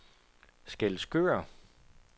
Skælskør